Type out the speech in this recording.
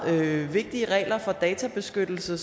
vigtige regler for databeskyttelse